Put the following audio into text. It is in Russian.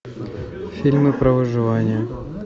фильмы про выживание